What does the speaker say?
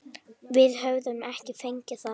Við höfum ekki fengið það.